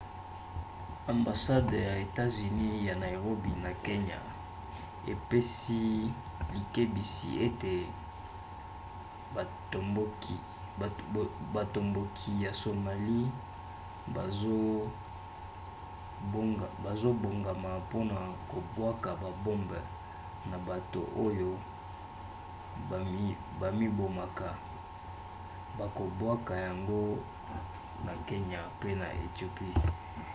ambasade ya etats-unis ya nairobi na kenya epesi likebisi ete batomboki ya somalie bazobongama mpona kobwaka babombe na bato oyo bamibomaka bakobwaka yango na kenya pe na ethiopie